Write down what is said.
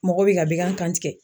Mɔgɔ bɛ ka bekan tigɛ